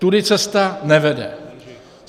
Tudy cesta nevede.